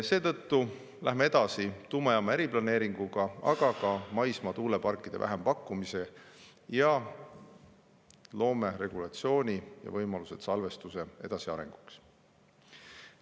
Seetõttu läheme edasi tuumajaama eriplaneeringuga, aga ka maismaa tuuleparkide vähempakkumisega ning loome regulatsiooni ja võimalused salvestuse arenguks.